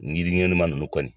Ɲiri ɲɛnama nunnu kɔni.